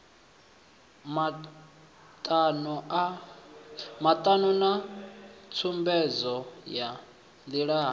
matano na tsumbedzo ya ndilani